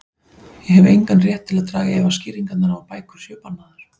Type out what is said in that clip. Ég hef engan rétt til að draga í efa skýringarnar á að bækur séu bannaðar.